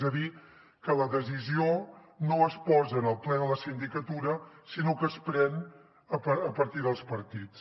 és a dir que la decisió no es posa en el ple de la sindicatura sinó que es pren a partir dels partits